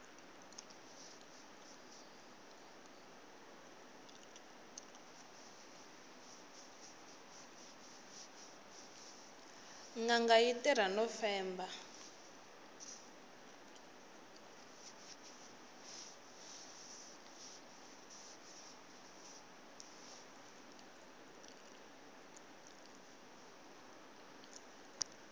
nganga yi tirha no femba